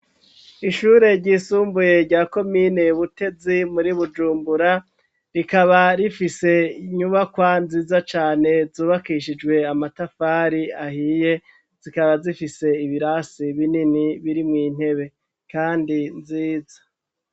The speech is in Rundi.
Ishure ry'isumbuye rya komine Butezi muri Bujumbura . Rikaba rifise nyubakwa nziza cane zubakishijwe amatafari ahiye zikaba zifise ibirasi binini biri mu intebe kandi nziza.